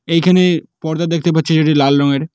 এইখানে পর্দা দেখতে পাচ্ছি যেটি লাল রঙের।